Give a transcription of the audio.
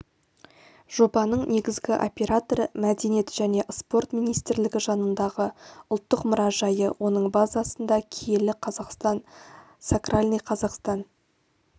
жобаның негізгі операторы мәдениет және спорт министрлігі жанындағы ұлттық мұражайы оның базасында киелі қазақстан сакральный казахстан